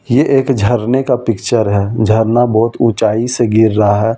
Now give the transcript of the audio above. ये एक झरने का पिक्चर है झरना बहुत ऊंचाई से गिर रहा और पानी।